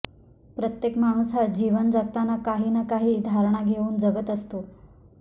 प्रत्येक माणूस हा जीवन जगताना काही ना काही धारणा घेऊन जगत असतो